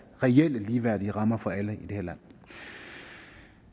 reelle ligeværdige rammer for alle